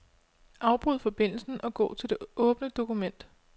Afbryd forbindelsen og gå til det åbne dokument.